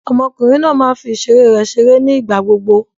Ọmọkùnrin náà máa ń fi ìṣeré rẹ̀ ṣeré ní ìgbà gbogbo.